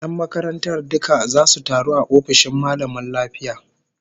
Yan makarantar duka zasu taru a ofishin mallamin lafiya